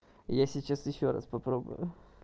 я сейчас ещё раз попробую